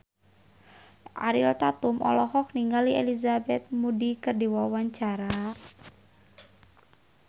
Ariel Tatum olohok ningali Elizabeth Moody keur diwawancara